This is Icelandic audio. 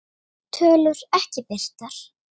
Tölur ekki birtar